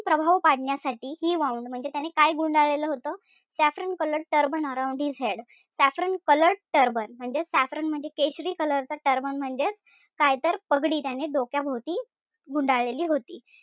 प्रभाव पाडण्यासाठी he wound म्हणजे त्यानं काय गुंडाळलेलं होतं? saffron colored turban around his head saffron colored turban म्हणजे saffron म्हणजे केशरी color चा turban म्हणजेच काय तर पगडी त्यांनी डोक्याभोवती गुंडाळलेली होती.